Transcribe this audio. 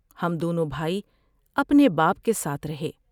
ہم دونوں بھائی اپنے باپ کے ساتھ رہے ۔